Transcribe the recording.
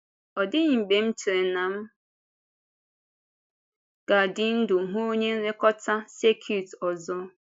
Ọ dịghị mgbe m chere na m ga-adị ndụ hụ onye nlekọta sẹ́kit ọzọ.